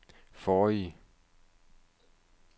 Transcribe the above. forrige